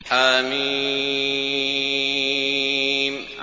حم